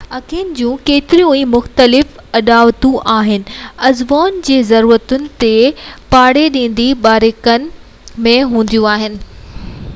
اکين جون ڪيتريون ئي مختلف اڏاوتون آهن عضون جي ضرورتن تي ڀاڙيندي باريڪين ۾ هونديون آهن